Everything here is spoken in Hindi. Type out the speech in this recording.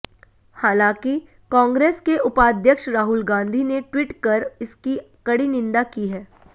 हांलाकि कांग्रेस के उपाध्यक्ष राहुल गांधी ने ट्वीट कर इसकी कड़ी निंदा की है